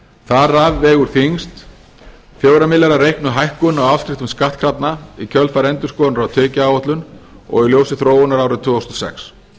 þar af vegur þyngst fjóra milljarða reiknuð hækkun á afskriftum skattkrafna í kjölfar endurskoðunar á tekjuáætlun og í ljósi þróunarinnar árið tvö þúsund og sex